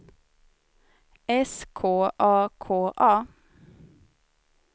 S K A K A